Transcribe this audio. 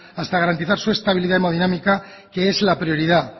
hasta garantizar su estabilidad hemodinámica que es la prioridad